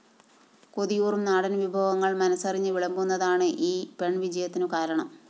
കൊതിയൂറും നാടന്‍ വിഭവങ്ങള്‍ മനസ്സറിഞ്ഞ് വിളമ്പുന്നതാണ് ഈ പെണ്‍വിജയത്തിനു കാരണം